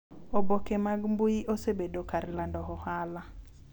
Oboke mag mbui osebedo kar lando ohala